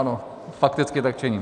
Ano, fakticky tak činím.